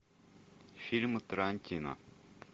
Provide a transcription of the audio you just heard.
фильмы тарантино